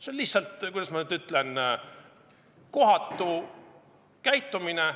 See on lihtsalt, kuidas öelda, kohatu käitumine.